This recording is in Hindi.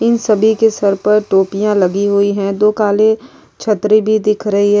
इन सभी के सर पर टोपियां लगी हुई हैं दो काले छतरी भी दिख रही है।